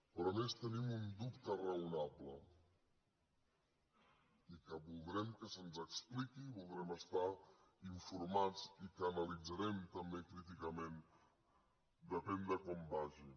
però a més tenim un dubte raonable i que voldrem que se’ns expliqui i en voldrem estar informats i que analitzarem també críticament depèn de com vagi